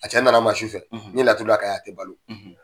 A cɛ nan'a ma su fɛ. ɲe laturu d'a kan yan, a tɛ balo.